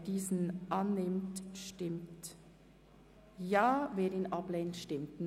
Wer diesen annimmt, stimmt Ja, wer diesen ablehnt, stimmt Nein.